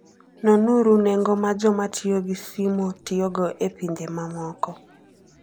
Nonuru nengo ma joma tiyo gi simo tiyogo e pinje mamoko.